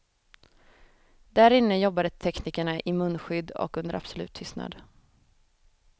Där inne jobbade teknikerna i munskydd och under absolut tystnad.